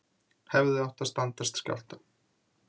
Hefðu átt að standast skjálfta